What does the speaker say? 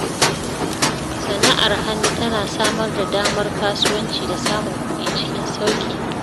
Sana’ar hannu tana samar da damar kasuwanci da samun kuɗi cikin sauƙi.